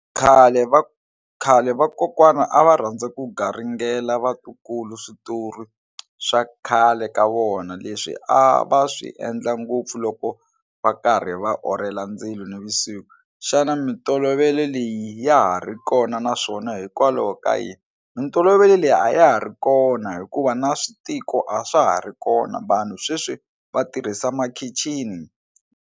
Khale khale vakokwana a va rhandza ku garingela vatukulu switori swa khale ka vona leswi a va swi endla ngopfu loko va karhi va orhela ndzilo nivusiku xana mitolovelo leyi ya ha ri kona naswona hikwalaho ka yini mitolovelo leyi a ya ha ri kona hikuva na switiko a swa ha ri kona vanhu sweswi va tirhisa makhixini.